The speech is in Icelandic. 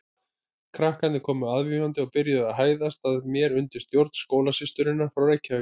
Krakkarnir komu aðvífandi og byrjuðu að hæðast að mér undir stjórn skólasysturinnar frá Reykjavík.